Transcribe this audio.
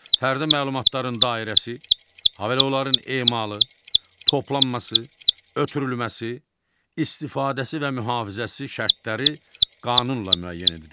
Fərdi məlumatların dairəsi, ha belə onların emalı, toplanması, ötürülməsi, istifadəsi və mühafizəsi şərtləri qanunla müəyyən edilir.